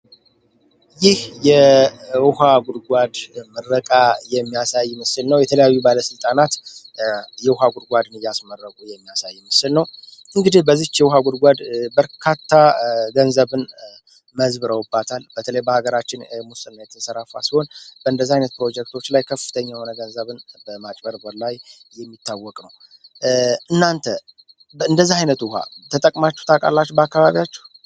ይህ የውሃ ጉድጓድ ምረቃ የሚያሳይ ምስል ነው። የተለያዩ ባለሥልጣናት የውሃ ጉድጓድ እያስመረቁ የሚያሳይ ምስል ነው። እንግዲህ በዚች የውሃ ጉድጓድ በርካታ ገንዘብን መዝብረውባታል በተለባ ሀገራችን ሙስና የተሰራፋ ሲሆን በእንደዚ ዓይነት ፕሮጀክቶች ላይ ከፍተኛ የሆነ ገንዘብን በማጭበርበር ላይ የሚታወቅ ነው። እናንተ በእንደዚህ ዓይነት ውሃ ተጠቅማችት አቃላች በአካባቢያችሁ?